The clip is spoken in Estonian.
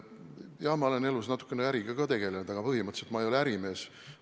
Jah, ma olen elus natukene äriga ka tegelenud, aga põhimõtteliselt ma ei ole ärimees.